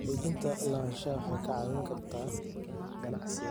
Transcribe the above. Xaqiijinta lahaanshaha waxay kaa caawin kartaa ganacsiga.